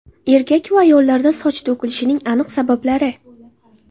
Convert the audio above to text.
Erkak va ayollarda soch to‘kilishing aniq sabablari.